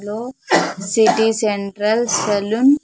లో city central salon .